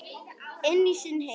Inn í sinn heim.